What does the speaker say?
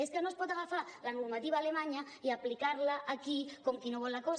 és que no es pot agafar la normativa alemanya i aplicar la aquí com qui no vol la cosa